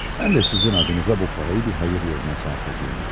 Mən də sizin adınıza bu parayı bir xeyir yoluna sərf edirəm işte.